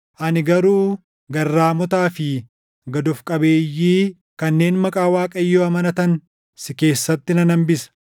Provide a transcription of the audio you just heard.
Ani garuu garraamotaa fi gad of qabeeyyii kanneen maqaa Waaqayyoo amanatan si keessatti nan hambisa.